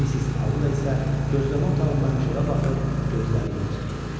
Missis Auda isə gözləmə otağından çölə baxır, gözləri yol çəkirdi.